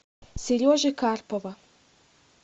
сережи карпова